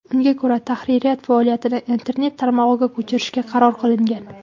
Unga ko‘ra, tahririyat faoliyatini internet tarmog‘iga ko‘chirishga qaror qilingan.